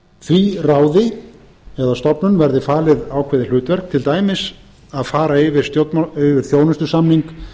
því ráði eða stofnun verði falið ákveðið hlutverk til dæmis að fara yfir þjónustusamning